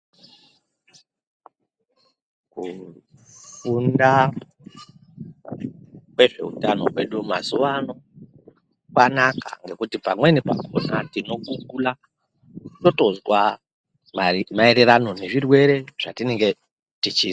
Kufunda kwezveutano hwedu mazuvano kwanaka ngekuti pamweni pakhona tinogugula totozwa maererano nezvirwere zvatinenge tichizwa.